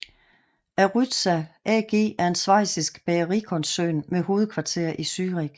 Aryzta AG er en schweizisk bagerikoncern med hovedkvarter i Zurich